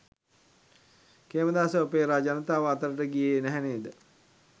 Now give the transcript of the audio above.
කේමදාසගේ opera ජනතාව අතරට ගියේ නැහැ නේද.